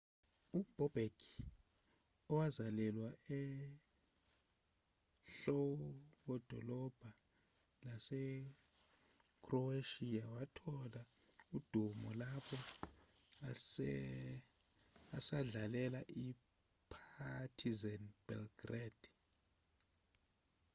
ubobek owazalelwa enhlokodolobha yasekhroweshiya wathola udumo lapho esadlalela i-partizan belgrade